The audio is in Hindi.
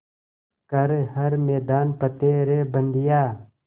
कर हर मैदान फ़तेह रे बंदेया